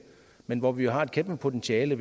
men hvor vi jo har et kæmpe potentiale